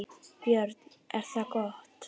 Björn: Er það gott?